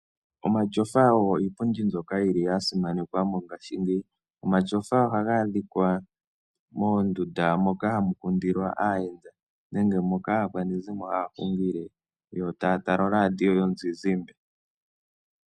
Omatyofa ogo iipundi mbyoka yili ya simanekwa mongaashingeyi. Omatyofa ohaga adhika moondunda moka hamu kundilwa aayenda nenge moka aakwanegumbo haya hungile yo taya tala oradio yomuzizimba.